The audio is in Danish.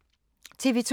TV 2